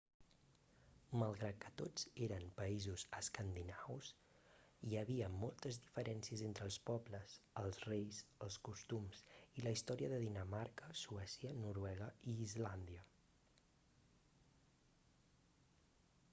malgrat que tots eren països escandinaus hi havia moltes diferències entre els pobles els reis els costums i la història de dinamarca suècia noruega i islàndia